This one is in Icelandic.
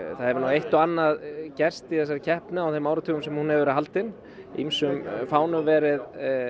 það hefur nú eitt og annað gerst í þessari keppni á þeim áratugum sem hún hefur verið haldin ýmsum fánum verið